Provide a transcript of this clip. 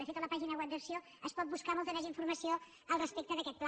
de fet a la pàgina web d’acc1ó es pot buscar molta més informació respecte d’aquest pla